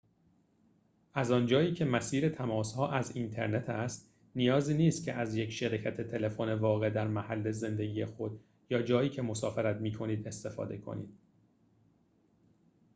از آنجایی که مسیر تماس‌ها از اینترنت است نیازی نیست که از یک شرکت تلفن واقع در محل زندگی خود یا جایی که مسافرت می‌کنید استفاده کنید